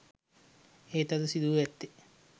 එහෙත් අද සිදුව ඇත්තේ